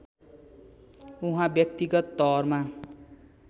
उहाँ व्यक्तिगत तवरमा